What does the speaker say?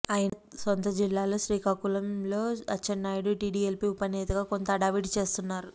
ఆయన సొంత జిల్లా శ్రీకాకుళంలో అచ్చెన్నాయుడు టీడీఎల్పీ ఉప నేతగా కొంత హడావుడి చేస్తున్నారు